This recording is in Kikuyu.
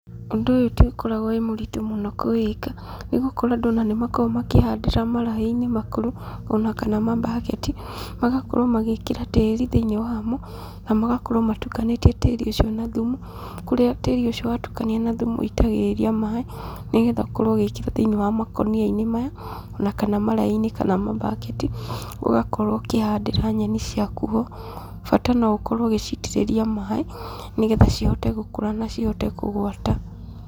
Ũndũ ũyũ ti ũkoragwo wĩ mũritũ mũno kũwĩka, nĩ gũkorwo andũ ona nĩ makoragwo makĩhandĩra maraĩ-inĩ makũrũ, ona kana mambaketi, magakorwo magĩĩkĩra tĩri thĩinĩ wamo, na magakorwo matukanĩtie tĩri ũcio na thumu, kũrĩa tĩri ũcio watukanio na thumu ũitagĩrĩria maĩ, nĩgetha ũkorwo ũgĩkĩra thĩinĩ wa mkũnia-inĩ maya, ona kana maraĩ-inĩ kana mambaketi, ũgakorwo ũkĩhandĩra nyeni ciaku ho, bata no ũkorwo ũgĩcitĩrĩria maĩ, nĩgetha cihote gũkũra na cihote kũgwata.